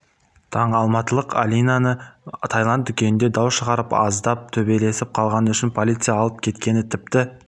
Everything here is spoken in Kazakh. таң алматылық алинаны тайланд дүкенінде дау шығарып аздап төбелесіп қалғаны үшін полиция алып кеткен тіпті